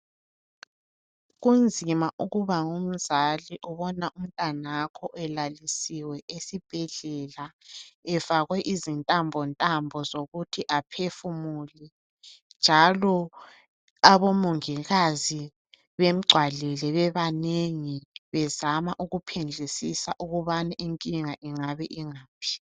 Kunzima ukuba ngumzali ubona umntwanakho elalisiwe esibhedlela efakwe izontambontambo zokuthi aphefumule njalo abomongikazi bemgcwalele bebanengi bezama ukuphendlisisa ukubana inkinga ingabe ingaphi